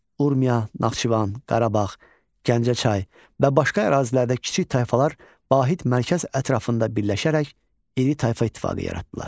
Urmiya, Naxçıvan, Qarabağ, Gəncə çay və başqa ərazilərdə kiçik tayfalar Vahid mərkəz ətrafında birləşərək iri tayfa ittifaqı yaratdılar.